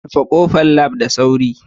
Rufe kofar Lab da sauri